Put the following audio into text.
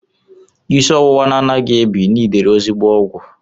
Isi ọwụwa na-anaghị ebi nidiri ezigbo ọgwụ.